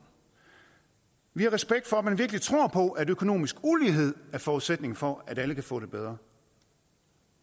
vi har respekt for at man virkelig tror på at økonomisk ulighed er forudsætningen for at alle kan få det bedre